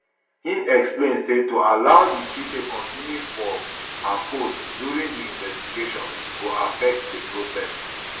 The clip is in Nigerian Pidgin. im explain say to allow di cj continue for her post during di investigation go affect di process